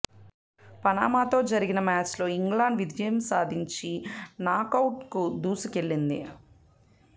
పనామాతో జరిగిన మ్యాచ్లో ఇంగ్లాండ్ విజయం సాధించి నాకౌట్కు దూసుకెళ్లింది